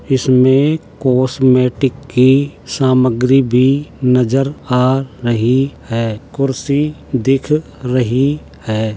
इसमें कॉस्मेटिक की सामग्री भी नजर आ रही है। कुर्सी दिख रही है।